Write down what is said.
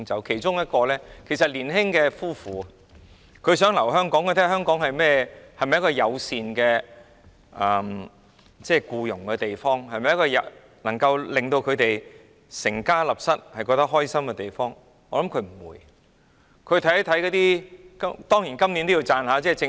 其中我提到一對年輕夫婦，他們想留在香港，看看香港是否一個僱傭友善的地方，是否一個可以讓他們安心成家立室的地方，我覺得他們不會留下來。